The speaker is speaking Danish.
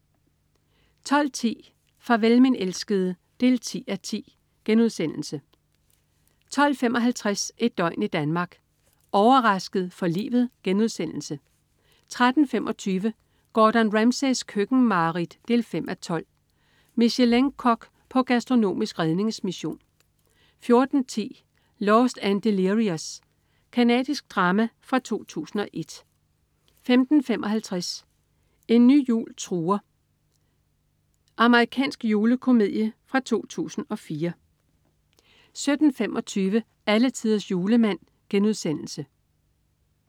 12.10 Farvel min elskede 10:10* 12.55 Et døgn i Danmark: Overrasket for livet* 13.25 Gordon Ramsays køkkenmareridt 5:12. Michelin-kok på gastronomisk redningsmission 14.10 Lost and Delirious. Canadisk drama fra 2001 15.55 En ny jul truer. Amerikansk julekomedie fra 2004 17.25 Alletiders Julemand*